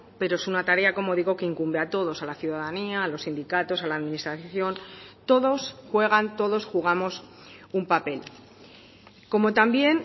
pero es una tarea como digo que incumbe a todos a la ciudadanía a los sindicatos a la administración todos juegan todos jugamos un papel como también